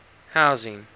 housing